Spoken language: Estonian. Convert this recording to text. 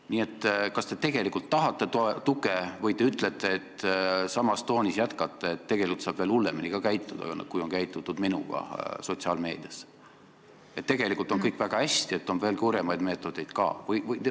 Nii et kas te tegelikult tahate tuge või te jätkate samas toonis ja ütlete, et tegelikult saab veel hullemini käituda, kui on minuga käitutud sotsiaalmeedias, et tegelikult on kõik väga hästi, et on veel kurjemaid meetodeid ka?